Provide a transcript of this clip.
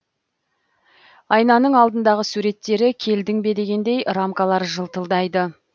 айнаның алдындағы суреттері келдің бе дегендей рамкалары жылтылдайды